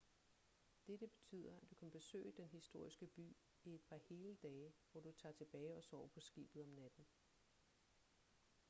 dette betyder at du kan besøge den historiske by i et par hele dage hvor du tager tilbage og sover på skibet om natten